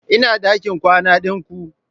Ina dakin kwana din ku?